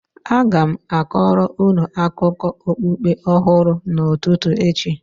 a ga m kọọrọ unu akụkọ okpukpe ọhụrụ n'ụtụtụ echi